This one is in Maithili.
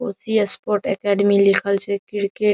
कोशी स्पोर्ट अकेडेमी लिखल छे क्रिकेट --